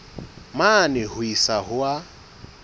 mane ho isa ho a